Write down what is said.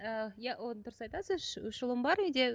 ііі иә ол дұрыс айтасыз үш үш ұлым бар үйде